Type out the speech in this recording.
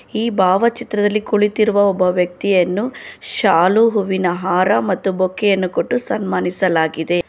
ಈ ಭಾವ ಚಿತ್ರದಲ್ಲಿ ಕುಳಿತಿರುವ ಒಬ್ಬ ವ್ಯಕ್ತಿಯನ್ನು ಶಾಲು ಹೂವಿನ ಹಾರ ಮತ್ತು ಬೊಕ್ಕೆ ಯನ್ನು ಕೊಟ್ಟು ಸನ್ಮಾನಿಸಲಾಗಿದೆ.